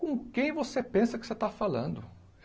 Com quem você pensa que você está falando?